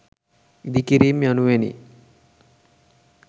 ඉදිකිරීම් යනුවෙනි.